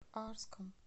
арском